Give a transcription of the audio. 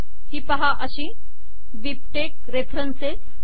ही पाहा अशी BibTeX reference